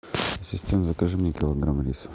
ассистент закажи мне килограмм риса